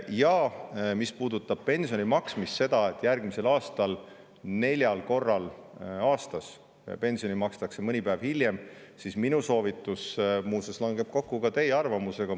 Ja mis puudutab pensioni maksmist – seda, et järgmisel aastal neljal korral aastas pensioni makstakse mõni päev hiljem –, siis minu soovitus muuseas langeb kokku ka teie arvamusega.